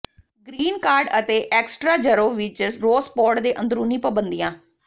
green card ਅਤੇ ਐਕਸਟਰਾਜਰੋ ਵਿਚ ਰੌਸਪੋਡ ਦੇ ਅੰਦਰੂਨੀ ਪਾਬੰਦੀਆਂ